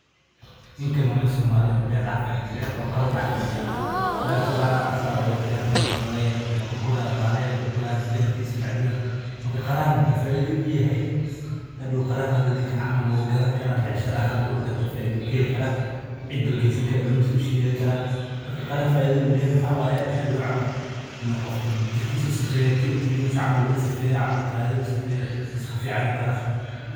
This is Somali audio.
Ninkan waa nin somali ah oo beer dex joogo beer qara aha ayuu abuurte wuu gadani karaa ilmahiisa ayuu ugeesani karaa.